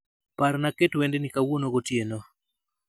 Parna aket wend ni kawuono gotieno